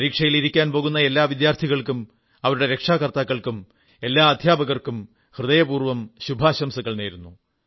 പരീക്ഷ എഴുതാൻ പോകുന്ന എല്ലാ വിദ്യാർഥികൾക്കും അവരുടെ രക്ഷാകർത്താക്കൾക്കും എല്ലാ അധ്യാപകർക്കും ഹൃദയപൂർവ്വം ശുഭാശംസകൾ നേരുന്നു